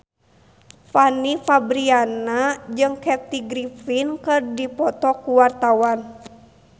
Fanny Fabriana jeung Kathy Griffin keur dipoto ku wartawan